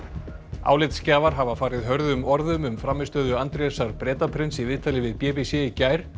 álitsgjafar hafa farið hörðum orðum um frammistöðu Andrésar Bretaprins í viðtali við b b c í gær